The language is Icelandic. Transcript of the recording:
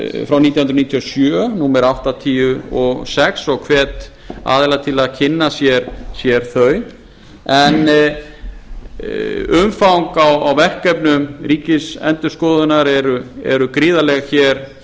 nítján hundruð níutíu og sjö númer áttatíu og sex og hvet aðila til að kynna sér þau en umfang á verkefnum ríkisendurskoðunar eru gríðarleg